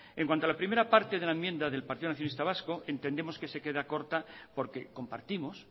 en cuanto a la primera parte de la enmienda del partido nacionalista vasco entendemos que se queda corta porque compartimos